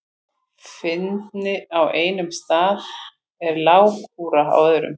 Fyndni á einum stað er lágkúra á öðrum.